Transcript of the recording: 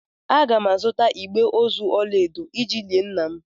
Aga m azụta igbe ozu ọla edo iji lie nna m.